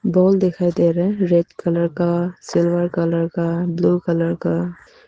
Ball दिखाई दे रहा है रेड कलर का सिल्वर कलर का ब्लू कलर का।